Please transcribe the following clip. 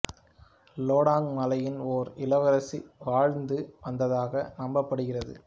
Ledang மலையில் ஓர் இளவரசி வாழ்ந்து வந்ததாக நம்பப் படுகிறது